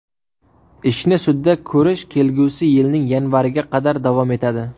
Ishni sudda ko‘rish kelgusi yilning yanvariga qadar davom etadi.